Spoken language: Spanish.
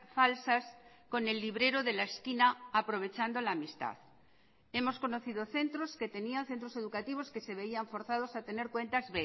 falsas con el librero de la esquina aprovechando la amistad hemos conocido centros que tenía centros educativos que se veían forzados a tener cuentas